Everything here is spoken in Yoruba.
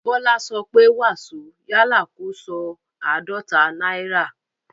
Bọ́lá sọ pé "wàsó" yálà kó sọ "àádọ́ta náírà".